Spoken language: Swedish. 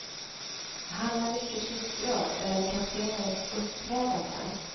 Han är mycket upprörd över kaptenens uppträdande.